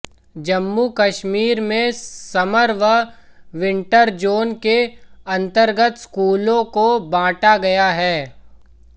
जम्मू कश्मीर में समर व winter zone के अंतर्गत स्कूलों को बांटा गया है